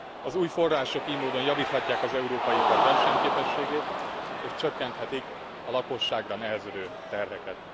Az új források ily módon javíthatják az európai ipar versenyképességét és csökkenthetik a lakosságra nehezedő terheket.